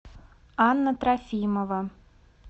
анна трофимова